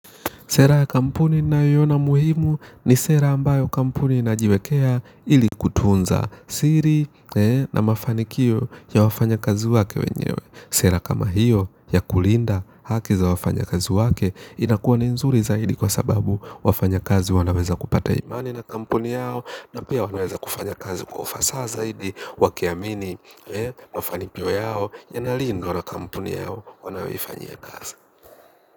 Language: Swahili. Sera ya kampuni nayoiona muhimu ni sera ambayo kampuni inajiwekea ili kutunza siri na mafanikio ya wafanya kazi wake wenyewe. Sera kama hiyo ya kulinda haki za wafanya kazi wake inakuwa ni nzuri zaidi kwa sababu wafanya kazi wanaweza kupata imani na kampuni yao na pia wanaweza kufanya kazi kwa ufasa zaidi wakiamini mafanikio yao yanalindwa na kampuni yao wanayoifanyia kazi.